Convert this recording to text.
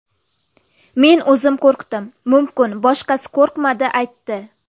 Men o‘zim qo‘rqdim, mumkin boshqasi qo‘rqmadi aytdi.